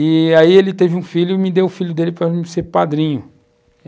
E aí ele teve um filho e me deu o filho dele para eu ser padrinho.